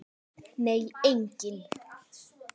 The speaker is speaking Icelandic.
Nei, enginn